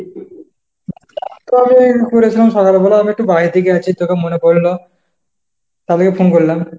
তবে এই ঘুরছিলাম সকালবেলা, আমি একটু বাইরে থেকে আছি। তোকে মনে পড়ল, তার লেগে phone করলাম।